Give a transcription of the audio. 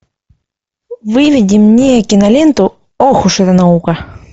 выведи мне киноленту ох уж эта наука